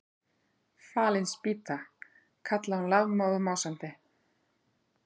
Fallin spýta! kallaði hún lafmóð og másandi.